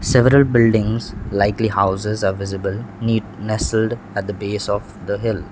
several buildings likely houses are visible neat nestled at the base of the hill.